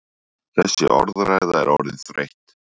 Þessi orðræða er orðin þreytt!